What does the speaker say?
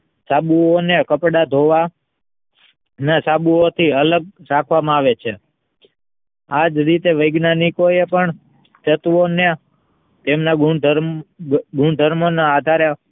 સાબુઓને કપડાં ધોવા એ સાબુ ઓ ને અલગ રાખવામાં આવે છે આજ રીતે વૈજ્ઞાનિકો એ પણ તત્વોના તેમના ગુણધર્મો ના આધારે